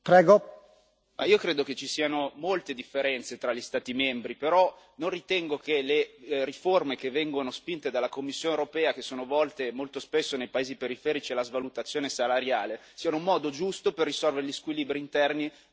Io credo che ci siano molte differenze tra gli Stati membri, però non ritengo che le riforme che vengono spinte dalla Commissione europea, che sono volte molto spesso nei paesi periferici alla svalutazione salariale, siano un modo giusto per risolvere gli squilibri interni all'eurozona.